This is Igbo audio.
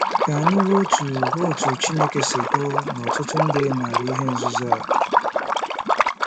Ka anyị hụ otú hụ otú Chineke si hụ na ọtụtụ ndị maara ihe nzuzo a.